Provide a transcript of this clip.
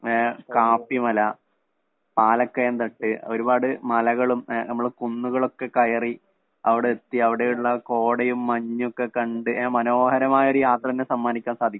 ങ്ങ്ഹേ Kappimala, Palakkayamthattu ഒരുപാട് മലകളും ങേ നമ്മള് കുന്നുകളും ഒക്കെ കയറി അവിടെത്തി അവിടെയുള്ള കോടയും, മഞ്ഞും ഒക്കെ കണ്ടു മനോഹരമായ ഒരു യാത്ര തന്നെ സമ്മാനിക്കാന്‍ സാധിക്കും.